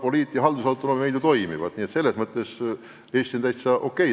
Poliit- ja haldusautonoomia meil ju toimivad, nii et selles mõttes on olukord Eestis täitsa okei.